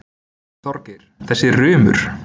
Þorgeir, þessi rumur.